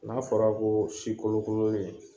N'a fɔra ko si kolokololen